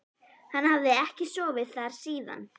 Hann hafði ekki sofið þar síðan.